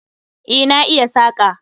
E, na iya saƙa